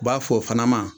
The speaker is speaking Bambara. U b'a fɔ o fana ma